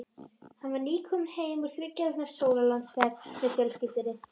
Hann var nýkominn heim úr þriggja vikna sólarlandaferð með fjölskyldunni.